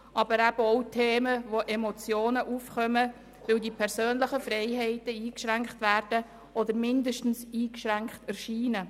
Aber auch Themen sind wichtig, zu denen Emotionen aufkommen, weil die persönlichen Freiheiten eingeschränkt werden oder zumindest eingeschränkt erscheinen.